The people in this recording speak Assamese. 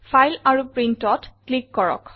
ফাইল আৰু Printত ক্লিক কৰক